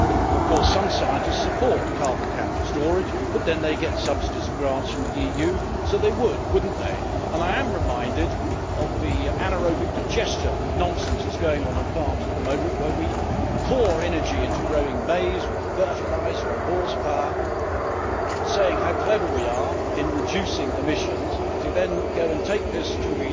Of course, some scientists support carbon capture and storage but then they get subsidies and grants from the EU, so they would, wouldn't they? I am reminded of the anaerobic digester nonsense that is happening on farms at the moment, where we pour energy into growing maize with fertiliser and horsepower, saying how clever we are in reducing emissions, only to go and take this